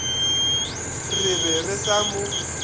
re be re sa mo